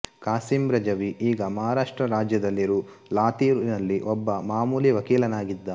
ಕಾಸಿಂ ರಜವಿ ಈಗ ಮಹಾರಾಷ್ಟ್ರ ರಾಜ್ಯದಲ್ಲಿರು ಲಾತೂರಿನಲ್ಲಿ ಒಬ್ಬ ಮಾಮೂಲಿ ವಕೀಲನಾಗಿದ್ದ